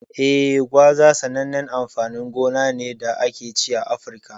Eh, gwaza sanannen amfanin gona ne da ake ci a Afirka.